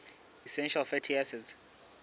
essential fatty acids